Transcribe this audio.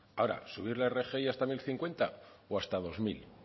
ahora subir la rgi hasta mil cincuenta o hasta dos mil